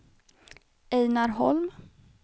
Einar Holm